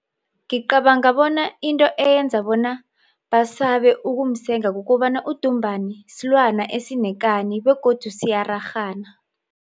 Ngicabanga bona into eyenza bona basabe ukumsenga kukobana udumbani silwana esinekani begodu siyararhana.